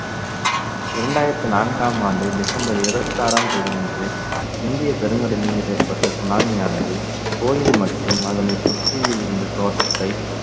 இரண்டாயிரத்தி நான்காம் ஆண்டு டிசம்பர் இருபத்தி ஆறாம் தேதியன்று இந்திய பெருங்கடலில் ஏற்பட்ட சுனாமியானது கோயில் மற்றும் அதனை சுற்றி இருந்த தோட்டத்தை